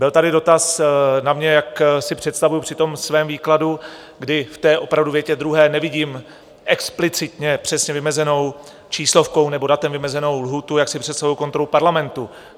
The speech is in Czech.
Byl tady dotaz na mě, jak si představuji při tom svém výkladu, kdy v té opravdu větě druhé nevidím explicitně přesně vymezenou číslovkou nebo datem vymezenou lhůtu, jak si představuji kontrolu Parlamentu.